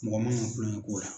Mɔgɔ man kan kulonkɛ k'o la.